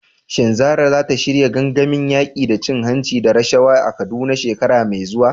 Shin Zarah za ta shirya gangamin yaƙi da cin hanci da rashawa a Kaduna shekara mai zuwa?